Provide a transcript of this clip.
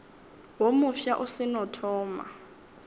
wo mofsa o seno thoma